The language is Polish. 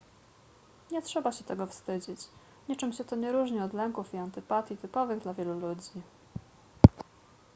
nie trzeba się tego wstydzić niczym się to nie różni od lęków i antypatii typowych dla wielu ludzi